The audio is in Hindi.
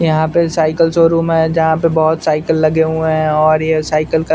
यहाँ पे साइकिल शोरूम है जहाँ पे बहोत साइकिल लगे हुए हैं और ये साइकिल का --